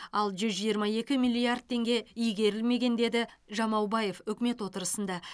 ал жүз жиырма екі миллиард теңге игерілмеген деді жамаубаев үкімет отырысында